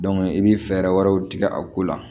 i bɛ fɛɛrɛ wɛrɛw tigɛ a ko la